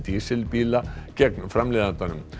dísilbíla gegn framleiðandanum